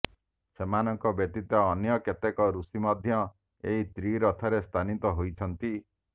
ସେମାନଙ୍କ ବ୍ୟତୀତ ଅନ୍ୟ କେତେକ ଋଷି ମଧ୍ୟ ଏହି ତ୍ରିରଥରେ ସ୍ଥାନିତ ହୋଇଛନ୍ତି